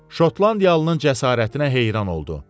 Şotlandiyalının cəsarətinə heyran oldu.